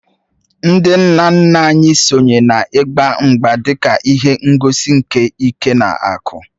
Ndị nna nna anyị sonye n’ịgba mgba dị ka ihe ngosi nke ike na akụ